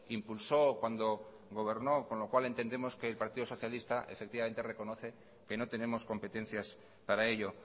impulsó cuando gobernó con lo cual entendemos que el partido socialistas efectivamente reconoce que no tenemos competencias para ello